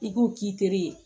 I k'o k'i teri ye